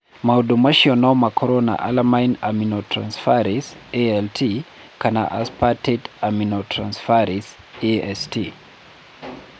Maũndũ macio no makorũo na Alanine aminotransferase (ALT) kana aspartate aminotransferase (AST).